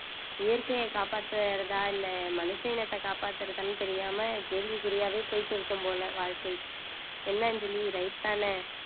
இயற்கையை காப்பாத்துறதா இல்ல மனுஷ இனத்தை காப்பாத்துறதான்னு தெரியாம கேள்விக்குறியாவே போயிட்டு இருக்கும் போல வாழ்க்கை என்ன அஞ்சலி right தானே